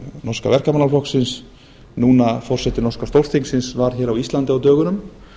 norska verkamannaflokksins núna forseti norska stórþingsins var hér á íslandi á dögunum